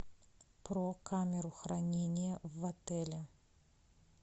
про камеру хранения в отеле